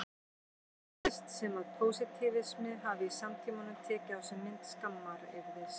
Svo virðist sem að pósitífismi hafi í samtímanum tekið á sig mynd skammaryrðis.